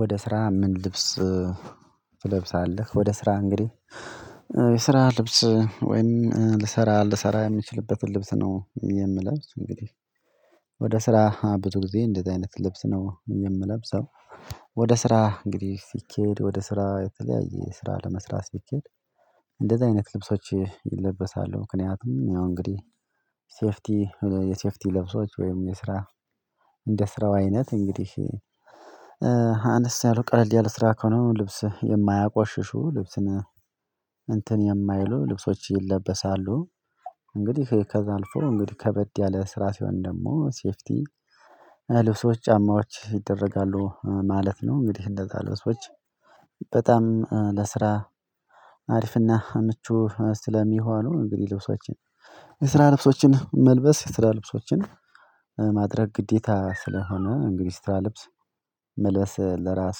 ወደ ስራ ምን ልብስ ትለብሳለህ? ወደ ስራ እንግዲህ የስራ ልብስ ወይም ልሰራ ልሰራ የምንችልበትን ልብስ ነው የምለብስ እንግዲህ ወደ ስራ ብዙ ጊዜ እንደዚህ አይነት ልብስ ነው የምለብሰው። ወደ ስራ እንግዲህ ሲኬድ ወደ ስራ የተለያየ ስራ ለመስራት ሲኬድ እንደዚህ አይነት ልብሶች ይለበሳሉ ምክንያቱም ያው እንግዲህ ሴፍቲ የሴፍቲ ለብሶች ወይም የስራ እንደ ስራው አይነት እንግዲህ አነስ ያለ ቀለል ያለ ስራ ከሆነ ልብስ የማያቆሽሹ ልብስን እንትን የማይሉ ልብሶች ይለበሳሉ። እንግዲህ ከዛ አልፎ እንግዲህ ከበድ ያለ ስራ ሲሆን ደግሞ ሴፍቲ ልብሶች ጫማዎች ይደረጋሉ ማለት ነው። እንግዲህ እንደዛ ልብሶች በጣም ለስራ አሪፍ ና ምቹ ስለሚሆኑ እንግዲህ ልብሶችን የስራ ልብሶችን መልበስ የስራ ልብሶችን ማድረግ ግዴታ ስለሆነ እንግዲህ ስራ ልብስ መልበስ ለራስ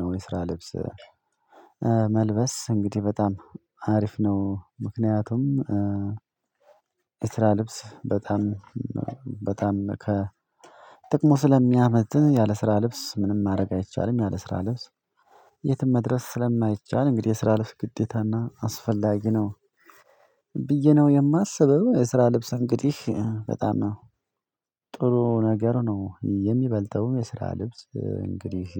ነው የስራ ልብስ መልበስ እንግዲህ በጣም አሪፍ ነው። ምክንያቱም የስራ ልብስ በጣም በጣም ከጥቅሙ ስለሚያመጥህ ያለ ስራ ልብስ ምንም ማድረግ አይቻልም። ያለ ስራ ልብስ የትም መድረስ ስለማይቻል እንግዲህ የስራ ልብስ ግዴታና አስፈላጊ ነው። ብዬ ነው የማስበው የስራ ልብስ እንግዲህ በጣም ነው ጥሩ ነገር ነው። የሚበልጠው የስራ ልብስ እንግዲህ